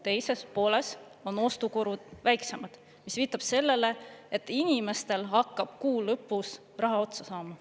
Kuu teises pooles on ostukulud väiksemad, mis viitab sellele, et inimestel hakkab kuu lõpus raha otsa saama.